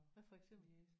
Hvad for eksempel?